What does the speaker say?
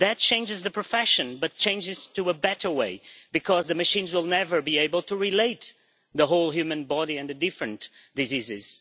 That changes the profession but changes it in a good way, because the machines will never be able to relate the whole human body and the different diseases